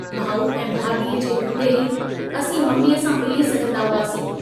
भाऊ ऐं भाभीअ जे हूंदे ई असीं मम्मीअ सां मिली सघंदा हुआसीं।